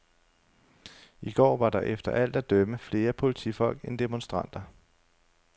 I går var der efter alt at dømme flere politifolk end demonstranter.